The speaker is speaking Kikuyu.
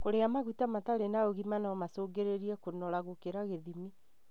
Kũrĩa maguta matarĩ na ũgima no gũcũngĩrĩrie kũnora gũkĩra gĩthimi.